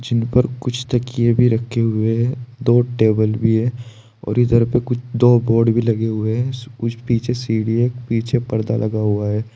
इन पर कुछ तकिए भी रखे हुए है दो टेबल भी है और इधर पर कुछ दो बोर्ड भी लगे हुए है कुछ पीछे सीढ़ी है एक पीछे पर्दा लगा हुआ है।